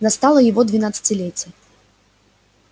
настало и его двенадцатилетие